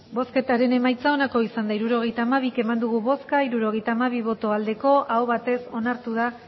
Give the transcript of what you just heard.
hirurogeita hamabi eman dugu bozka hirurogeita hamabi bai aho batez onartu da